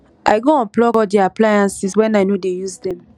i go unplug all di appliances wen i no dey use dem